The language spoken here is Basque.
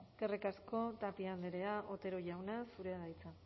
eskerrik asko tapia andrea otero jauna zurea da hitza